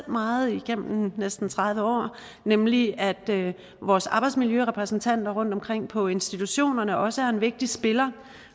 meget igennem næsten tredive år nemlig at vores arbejdsmiljørepræsentanter rundtomkring på institutionerne også er en vigtig spiller